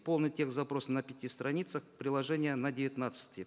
полный текст запроса на пяти страницах приложение на девятнадцати